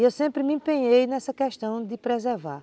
E eu sempre me empenhei nessa questão de preservar.